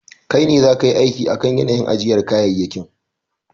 Kai ne zaka yi aiki akan yanayin ajiyar kayayyakin.